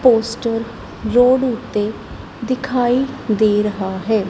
Poster road ਓੱਤੇ ਦਿਖਾਈ ਦੇ ਰਿਹਾ ਹੈ।